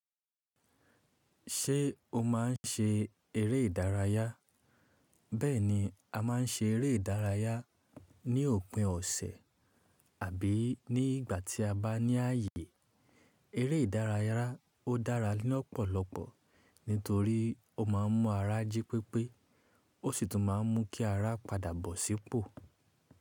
Ṣé o máa ń ṣe eré ìdárayá? Bẹ́ẹ̀ni, a máa ń ṣe eré ìdárayá ní òpin ọ̀sẹ̀ àbí ní ìgbà tí a bá ní ààyè. Eré ìdárayá ó dára ni ọ̀pọ̀lọpọ̀ nítorí ó máa ń mú ara jí pépé ó sì tún máa ń mú kí ara padà bọ̀ sípò.